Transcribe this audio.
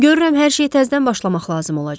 Görürəm hər şey təzədən başlamaq lazım olacaq.